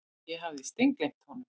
Ég hafði steingleymt honum.